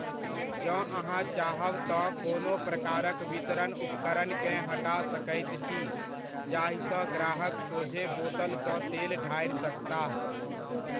जँ अहाँ चाहब तँ कोनो प्रकारक वितरण उपकरणकेँ हटा सकैत छी, जाहिसँ ग्राहक सोझे बोतलसँ तेल ढारि सकताह।